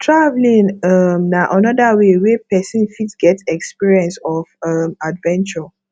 travelling um na anoda way wey person fit get experience of um adventure